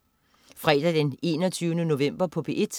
Fredag den 21. november - P1: